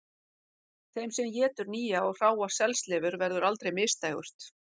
Þeim sem étur nýja og hráa selslifur verður aldrei misdægurt